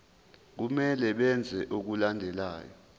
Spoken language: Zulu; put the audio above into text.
kumele benze okulandelayo